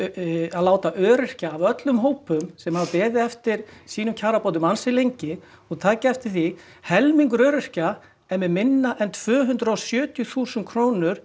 að láta öryrkja af öllum hópum sem hafa beðið eftir sínum kjarabótum ansi lengi og takið eftir því helmingur öryrkja er með minna en tvö hundruð og sjötíu þúsund krónur